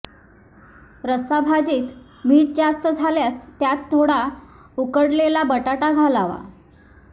रस्सा भाजीत मीठ जास्त झाल्यास त्यात थोडा उकडलेला बटाटा घालावा